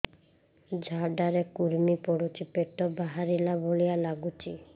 ଝାଡା ରେ କୁର୍ମି ପଡୁଛି ପେଟ ବାହାରିଲା ଭଳିଆ ଲାଗୁଚି